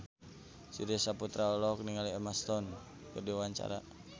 Surya Saputra olohok ningali Emma Stone keur diwawancara